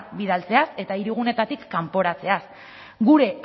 bidaltzeaz eta hiriguneetatik kanporatzeaz gure